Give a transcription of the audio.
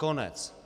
Konec.